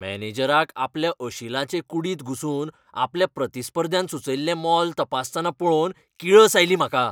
मॅनेजराक आपल्या अशिलाचे कुडींत घुसून आपल्या प्रतिस्पर्ध्यान सुचयल्लें मोल तपासतना पळोवन किळस आयली म्हाका.